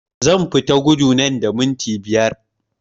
Zan fita gudu nan da minti biyu